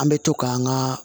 An bɛ to k'an ka